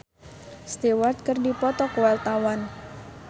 Aldi Taher jeung Rod Stewart keur dipoto ku wartawan